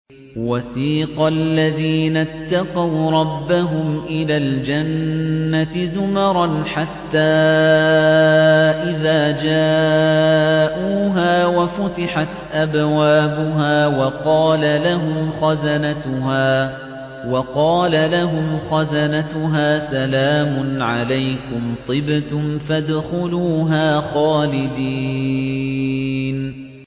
وَسِيقَ الَّذِينَ اتَّقَوْا رَبَّهُمْ إِلَى الْجَنَّةِ زُمَرًا ۖ حَتَّىٰ إِذَا جَاءُوهَا وَفُتِحَتْ أَبْوَابُهَا وَقَالَ لَهُمْ خَزَنَتُهَا سَلَامٌ عَلَيْكُمْ طِبْتُمْ فَادْخُلُوهَا خَالِدِينَ